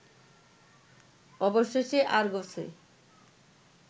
অবশেষে আরগসে